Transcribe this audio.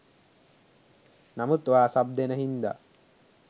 නමුත් ඔයා සබ් දෙන හින්දා